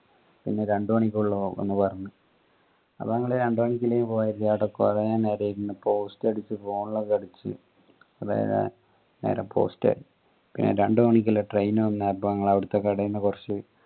പിന്നെ രണ്ട് മണിക്കുള്ള ഒന്ന് പറഞ് അപ്പൊ ഞങ്ങൾ രണ്ട് മണിക്കില്ലെന് കൊറേ നേരം ഇരുന്ന post അടിച് phone ലോക്കെ കളിച് കുറെ നേരം post ആയി പിന്നെ രണ്ട് മണിക്കിള്ള train വന്നപ്പോ ഞങ്ങൾ അവിടത്തെ കടേന് കുറച്